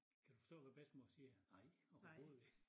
Kan du forstå hvad bedstemor siger nej overhoved ikke